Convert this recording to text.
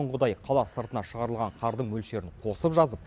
бұрынғыдай қала сыртына шығарылған қардың мөлшерін қосып жазып